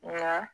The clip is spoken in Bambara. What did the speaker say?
Nka